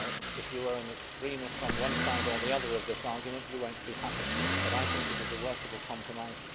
If you are an extremist on one side or the other of this argument you will not be happy, but I think it is a workable compromise.